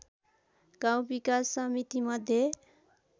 गाउँ विकास समितिमध्ये